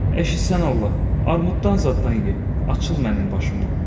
Ayşı sən Allah, armuddan zaddan ye, açıl mənim başımnan.